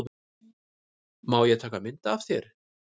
Má ég taka mynd af þér?